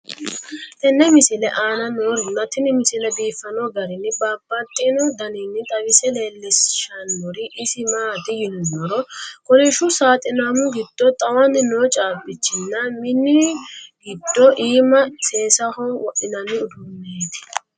tenne misile aana noorina tini misile biiffanno garinni babaxxinno daniinni xawisse leelishanori isi maati yinummoro kolishshu saaxinamu giddo xawanni noo caabbichi nna minu giddo iimma seessaho wodhinanni uduunnetti.